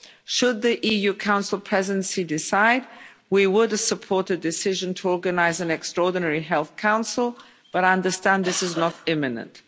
Should the EU Council Presidency decide, we would support a decision to organise an extraordinary Health Council, but I understand this is not imminent.